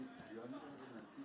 Ən yaxşı oyunçu.